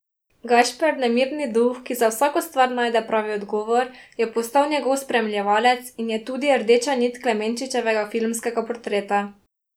Gašper, nemirni duh, ki za vsako stvar najde pravi odgovor, je postal njegov spremljevalec in je tudi rdeča nit Klemenčičevega filmskega portreta.